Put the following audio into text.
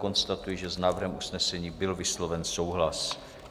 Konstatuji, že s návrhem usnesení byl vysloven souhlas.